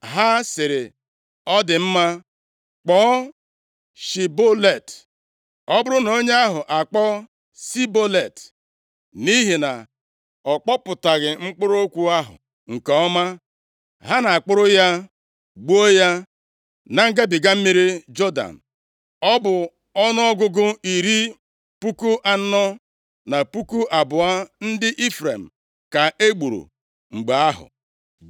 ha sịrị, “Ọ dị mma, kpọọ, ‘Shibolet.’ ” Ọ bụrụ na onye ahụ akpọ, “Sibolet,” nʼihi na ọ kpọpụtaghị mkpụrụ okwu ahụ nke ọma, ha na-akpụrụ ya gbuo ya na ngabiga mmiri Jọdan. Ọ bụ ọnụọgụgụ iri puku anọ, na puku abụọ ndị Ifrem ka e gburu mgbe ahụ.